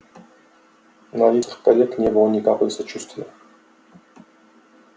на лицах коллег не было ни капли сочувствия